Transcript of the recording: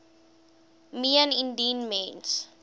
meen indien mens